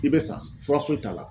I bɛ sa fura foyi t'a la.